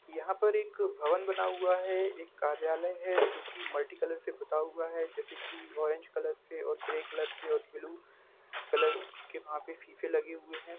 यहाँ पर एक भवन बना हुवा है एक कार्यालय है जो की मल्टी कलर से पुता हुवा है जैसे की ओरेंज कलर से ग्रे कलर से और ब्लू कलर के वहां पे सीसे लगे हुवे है।